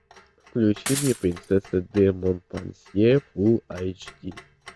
включи мне принцесса де монпансье фул айч ди